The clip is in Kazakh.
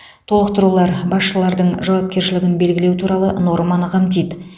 толықтырулар басшылардың жауапкершілігін белгілеу туралы норманы қамтиды